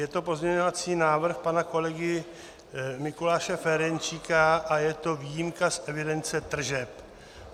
Je to pozměňovací návrh pana kolegy Mikuláše Ferjenčíka a je to výjimka z evidence tržeb.